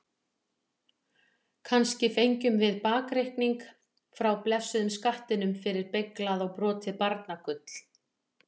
Kannski fengjum við bakreikning frá blessuðum skattinum fyrir beyglað og brotið barnagull?